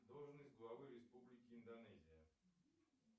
должность главы республики индонезия